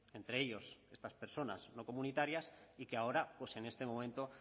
entre ellos estas personas no comunitarias y que ahora pues en este momento